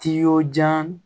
Ti y'o jan